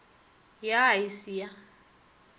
ya a e se ya